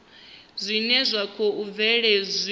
zwine zwa khou bvelela zwi